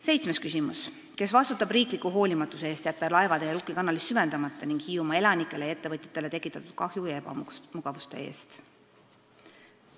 Seitsmes küsimus: "Kes vastutab riikliku hoolimatuse eest jätta laevatee Rukki kanalis süvendamata ning Hiiumaa elanikele ja ettevõtjatele tekitatud kahju ja ebamugavuste eest?